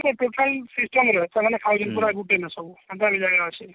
total system ର ସେମାନେ ଖାଇବେ ପୁରା ଗୁଟେ ହେନା ସବୁ